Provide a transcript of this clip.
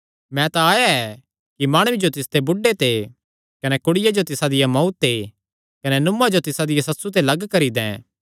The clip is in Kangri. मैं तां आया ऐ कि माणुये जो तिसदे बुढ़े ते कने कुड़िया जो तिसा दिया मांऊ ते कने नुआं जो तिसा दिया सस्सु ते लग्ग करी दैं